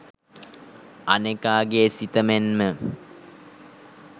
අනෙකා ගේ සිත මෙන්ම